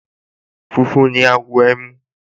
Funfun ni àwọ̀ ẹmu